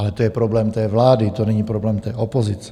Ale to je problém té vlády, to není problém té opozice.